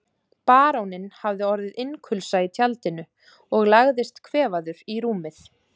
Baróninn hafði orðið innkulsa í tjaldinu og lagðist kvefaður í rúmið.